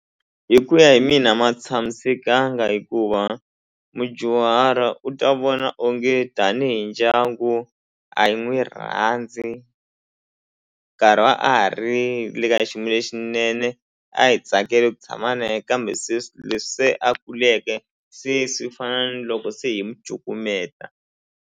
Hi ku ya hi mina a ma tshamisekanga hikuva mudyuhari u ta vona onge tanihi ndyangu a hi n'wi rhandzi nkarhi a ha ri le ka xiyimo lexinene a hi tsakele ku tshama na ye kambe sweswi leswi se a kuleke se swi fana na loko se hi mu cukumeta.